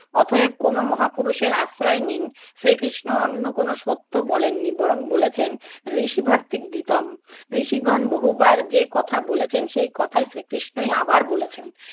অতএব কোনো মহাপুরুষের আশ্রয় নিন। শ্রীকৃষ্ণ অন্য কোনো সত্য বলেননি বরং বলেছেন ঋষি ভাতৃক গীতম। ঋষিগণ বহুবার যে কথা বলেছেন সেই কথাই শ্রীকৃষ্ণই আবার বলেছেন।